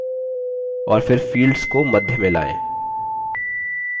और फिर fields को मध्य में लाएँ